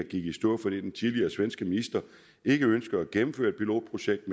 gik i stå fordi den tidligere svenske minister ikke ønskede at gennemføre et pilotprojekt